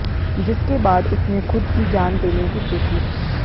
जिसके बाद उसने खुद की जान देने की सोची